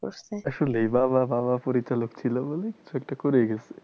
আসলেই বাবা বাবা পরিচালক ছিল বলেই কিছু একটা করে গেসে।